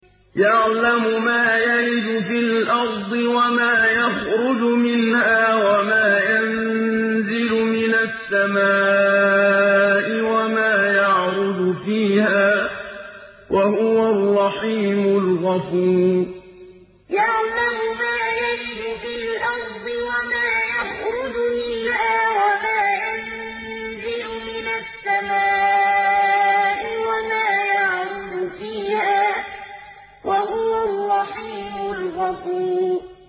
يَعْلَمُ مَا يَلِجُ فِي الْأَرْضِ وَمَا يَخْرُجُ مِنْهَا وَمَا يَنزِلُ مِنَ السَّمَاءِ وَمَا يَعْرُجُ فِيهَا ۚ وَهُوَ الرَّحِيمُ الْغَفُورُ يَعْلَمُ مَا يَلِجُ فِي الْأَرْضِ وَمَا يَخْرُجُ مِنْهَا وَمَا يَنزِلُ مِنَ السَّمَاءِ وَمَا يَعْرُجُ فِيهَا ۚ وَهُوَ الرَّحِيمُ الْغَفُورُ